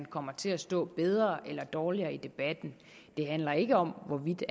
kommer til at stå bedre eller dårligere i debatten det handler ikke om hvorvidt